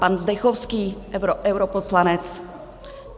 Pan Zdechovský, europoslanec.